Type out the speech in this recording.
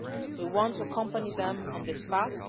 We want to accompany them on this path.